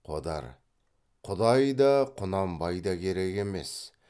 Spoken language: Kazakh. қодар құдай да құнанбай да керек емес